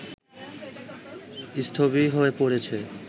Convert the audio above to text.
স্থবির হয়ে পড়েছে